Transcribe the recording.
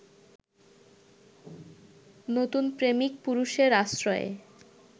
নতুন প্রেমিক-পুরুষের আশ্রয়ে